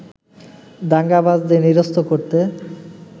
দাঙ্গাবাজদের নিরস্ত করতে